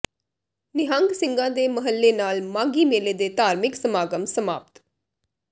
ਨਿਹੰਗ ਸਿੰਘਾਂ ਦੇ ਮਹੱਲੇ ਨਾਲ ਮਾਘੀ ਮੇਲੇ ਦੇ ਧਾਰਮਿਕ ਸਮਾਗਮ ਸਮਾਪਤ